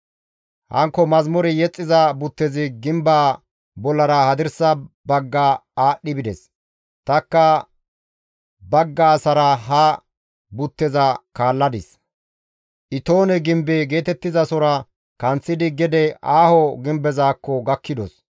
Hankko mazamure yexxiza buttezi gimbaa bollara hadirsa bagga aadhdhi bides; tanikka bagga asara ha butteza kaalladis; Itoone gimbe geetettizasora kanththidi gede aaho gimbezaakko gakkidos.